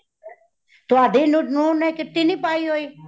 ਤੁਹਾਡੀ ਨੂੰ ਨੇ kitty ਨਹੀਂ ਪਾਈ ਹੋਈ।